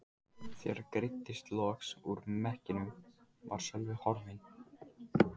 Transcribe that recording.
Þegar greiddist loks úr mekkinum var Sölvi horfinn.